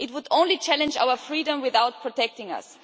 It would only challenge our freedom without protecting us.